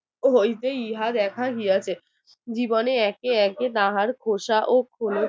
হইতে ইহা দেখা দিয়েছে জীবনে একে একে দার খোসা ও খোলা